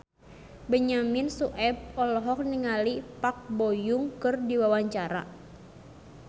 Benyamin Sueb olohok ningali Park Bo Yung keur diwawancara